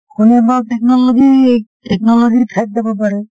কোনেবা technology technology ৰ ঠাইত যাব পাৰে